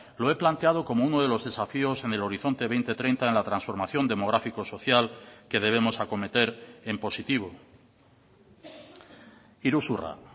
lo he planteado como uno de los desafíos en el horizonte dos mil treinta en la transformación demográfico social que debemos acometer en positivo iruzurra